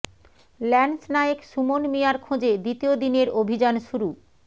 lance Naik Suman মিয়ার খোঁজে দ্বিতীয় দিনের অভিযান শুরু